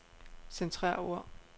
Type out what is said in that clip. Centrer ord.